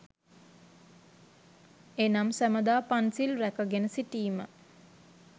එනම් සැමදා පන්සිල් රැකගෙන සිටීම